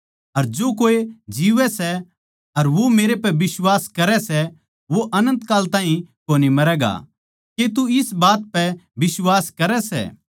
अर जो कोए जीवै सै अर वो मेरै पै बिश्वास करै सै वो अनन्त काल ताहीं कोनी मरैगा के तू इस बात पै बिश्वास करै सै